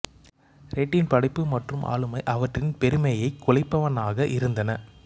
randint படைப்பு மற்றும் ஆளுமை அவற்றின் பெருமையைக் குலைப்பனவாக இருந்தன